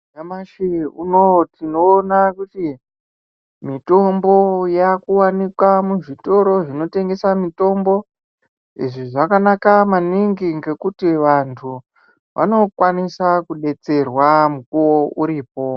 Nyamashi unowu tinoona kuti mitombo yakuwanika muzvitoro zvinotengesa mitombo . Izvi zvakanaka maningi ngekuti vantu vanokwanisa kudetserwa mukuwo uripo.